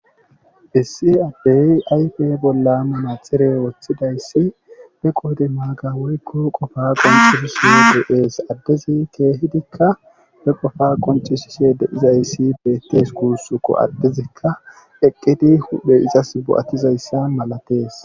essi aphay ayfe bolla mana xire woththidayssi be qoode maaga woykko qofa qoncisi s aa de7ees addezi keehidikka be qofa qoncishishe deizayssi beettes kuussuko addizikka eqqidi udhe izas bo7attizayssan malatees